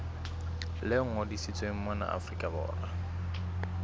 le ngodisitsweng mona afrika borwa